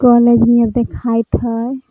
College निहर देखाइत हई।